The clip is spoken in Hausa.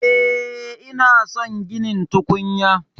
E, ina son ginin tukunya